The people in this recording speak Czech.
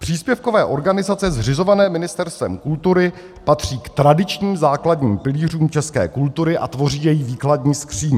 Příspěvkové organizace zřizované Ministerstvem kultury patří k tradičním základním pilířům české kultury a tvoří její výkladní skříň.